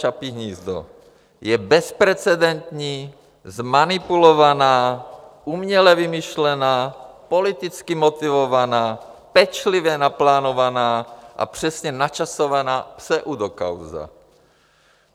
Čapí hnízdo je bezprecedentní, zmanipulovaná, uměle vymyšlená, politicky motivovaná, pečlivě naplánovaná a přesně načasovaná pseudokauza.